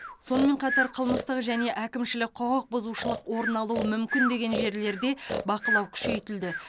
сонымен қатар қылмыстық және әкімшілік құқық бұзушылық орын алуы мүмкін деген жерлерде бақылау күшейтілді